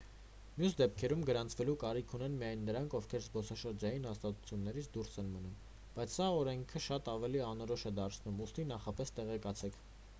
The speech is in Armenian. մյուս դեպքերում գրանցվելու կարիք ունեն միայն նրանք ովքեր զբոսաշրջային հաստատություններից դուրս են մնում բայց սա օրենքը շատ ավելի անորոշ է դարձնում ուստի նախապես տեղեկացեք